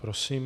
Prosím.